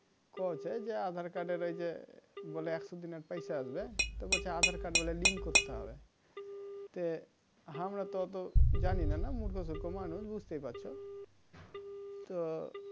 কৈছে যে aadhar card এর এই যে বলে একশো দিনের পয়সা আসবে তো বলছে aadhar card বলে link করতে হবে আমরা তো ওতো জানিনা না মূর্খ সুর্খ মানুষ বুজতেই পারছো তো